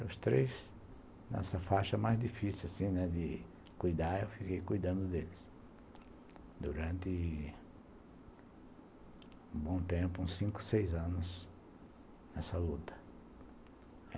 Os três nessa faixa mais difícil assim, né, de cuidar, eu fiquei cuidando deles durante um bom tempo, uns cinco, seis anos nessa luta.